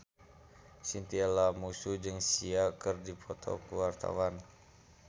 Chintya Lamusu jeung Sia keur dipoto ku wartawan